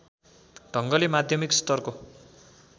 ढङ्गले माध्यमिक स्तरको